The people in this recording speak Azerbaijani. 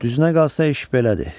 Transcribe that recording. Düzünə qalsa iş belədir.